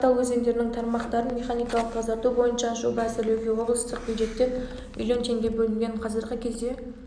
қаратал өзендерінің тармақтарын механикалық тазарту бойынша жоба әзірлеуге облыстық бюджеттен млн теңге бөлінген қазіргі кезде